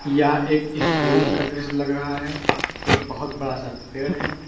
यह एक स्कूल का दृश्य लग रहा है एक बहोत बड़ा सा पेड़ है।